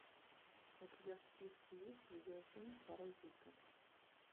у тебя в списке есть видеофильм паразиты